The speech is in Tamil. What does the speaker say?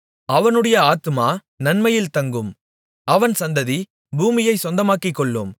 அவனுடைய ஆத்துமா நன்மையில் தங்கும் அவன் சந்ததி பூமியைச் சொந்தமாக்கிக்கொள்ளும்